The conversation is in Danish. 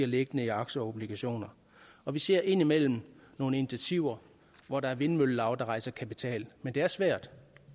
liggende i aktier og obligationer og vi ser indimellem nogle initiativer hvor der er vindmøllelav der rejser kapital men det er svært